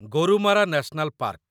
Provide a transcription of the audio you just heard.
Gorumara national park